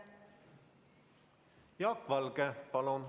Jaak Valge, palun!